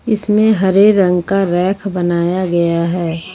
इसमें हरे रंग का रैक बनाया गया है।